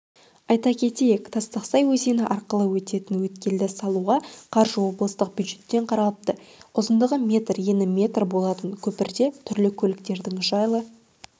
айта кетейік тастақсай өзені арқылы өтетін өткелді салуға қаржы облыстық бюджеттен қаралыпты ұзындығы метр ені метр болатын көпірде түрлі көліктердің жайлы